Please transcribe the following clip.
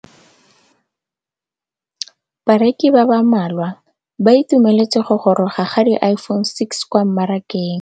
Bareki ba ba malwa ba ituemeletse go gôrôga ga Iphone6 kwa mmarakeng.